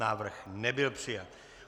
Návrh nebyl přijat.